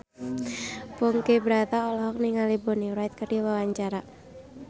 Ponky Brata olohok ningali Bonnie Wright keur diwawancara